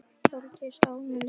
Þorgils og Ámundi Guðni.